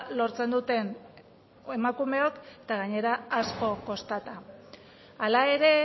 lortzen duten emakumeok eta gainera asko kostata hala ere